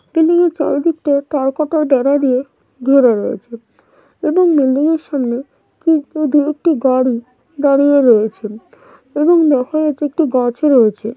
বিল্ডিংয়ের চারিদিকটায় তার কাটার বেড়া দিয়ে ঘেরা রয়েছে এবং বিল্ডিংয়ের সামনে দুএকটি গাড়ি দাঁড়িয়ে রয়েছেন এবং দেখা যাচ্ছে একটি গাছও রয়েছে।